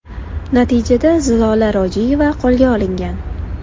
Natijada Zilola Rojiyeva qo‘lga olingan.